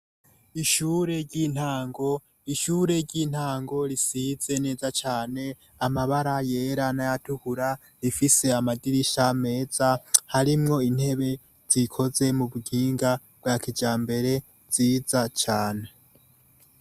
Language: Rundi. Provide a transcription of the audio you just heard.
Ishure ry'intango: Ishure ry'intango risize neza cane amabara yera n'ayatukura, rifise amadirisha meza harimwo intebe zikoze mu buhinga bwa kijambere nziza cane.